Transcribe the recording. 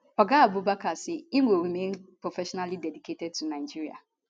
oga abubakar say im go remain professionally dedicated to nigeria